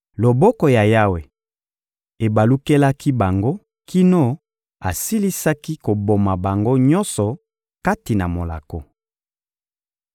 Loboko ya Yawe ebalukelaki bango kino asilisaki koboma bango nyonso kati na molako.